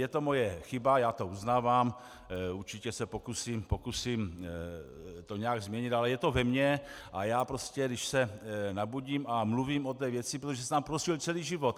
Je to moje chyba, já to uznávám, určitě se pokusím to nějak změnit, ale je to ve mně a já prostě když se nabudím a mluvím o té věci - protože jsem tam prožil celý život.